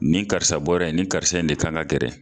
Nin karisa bɔra ye, ni karisa in de kan ka gɛrɛ.